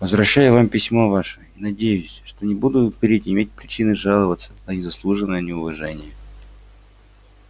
возвращаю вам письмо ваше и надеюсь что не буду впредь иметь причины жаловаться на незаслуженное неуважение